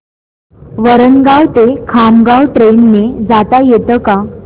वरणगाव ते खामगाव ट्रेन ने जाता येतं का